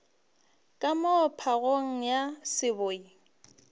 ka moo phagong ya seboi